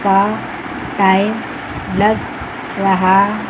का टाइम लग रहा--